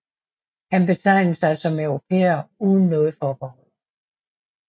Han betegnede sig som europæer uden noget forbehold